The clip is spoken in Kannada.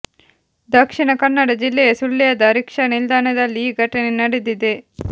ದಕ್ಷಿಣ ಕನ್ನಡ ಜಿಲ್ಲೆಯ ಸುಳ್ಯದ ರಿಕ್ಷಾ ನಿಲ್ದಾಣದಲ್ಲಿ ಈ ಘಟನೆ ನಡೆದಿದೆ